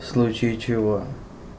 в случае чего